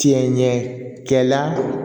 Tiɲɛ ɲɛ kɛla